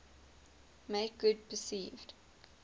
make good perceived